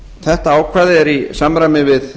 þetta ákvæði er í samræmi við